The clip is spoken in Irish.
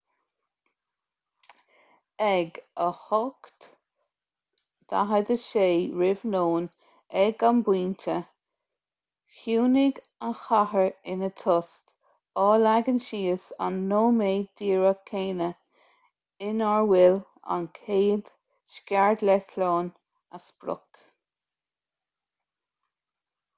ag 8:46 r.n. ag an bpointe chiúnaigh an chathair ina tost á leagan síos an nóiméad díreach céanna inar bhuail an chéad scairdeitleán a sprioc